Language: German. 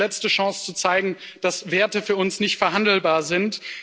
Es ist die letzte Chance zu zeigen, dass Werte für uns nicht verhandelbar sind.